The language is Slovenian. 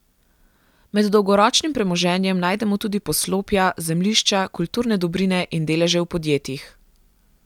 Med dolgoročnim premoženjem najdemo tudi poslopja, zemljišča, kulturne dobrine in deleže v podjetjih.